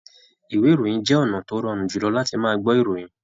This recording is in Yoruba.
Ìwé ìròyìn jẹ ọnà tó rọrùn jùlọ làti máa gbọ ìròyìn.